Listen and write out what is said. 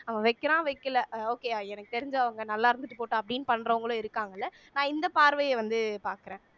அவன் வைக்கிறான் வைக்கலை அஹ் okay யா எனக்கு தெரிஞ்சு அவங்க நல்லா இருந்துட்டு போகட்டும் அப்படின்னு பண்றவங்களும் இருக்காங்கல்ல நான் இந்த பார்வையை வந்து பார்க்கிறேன்